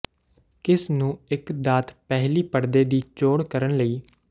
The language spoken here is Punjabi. ਕਿਸ ਨੂੰ ਇੱਕ ਦਾਤ ਪਹਿਲੀ ਪੜਦੇ ਦੀ ਚੋਣ ਕਰਨ ਲਈ